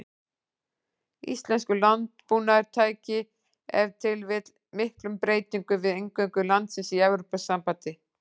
Íslenskur landbúnaður tæki ef til vill miklum breytingum við inngöngu landsins í Evrópusambandið.